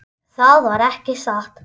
Það var ekki satt.